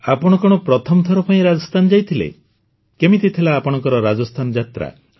ଆପଣ କଣ ପ୍ରଥମଥର ପାଇଁ ରାଜସ୍ଥାନ ଯାଇଥିଲେ କେମିତି ଥିଲା ଆପଣଙ୍କ ରାଜସ୍ଥାନ ଯାତ୍ରା